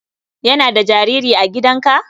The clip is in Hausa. Yana da jariri a gidanka?